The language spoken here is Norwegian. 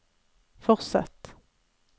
fortsett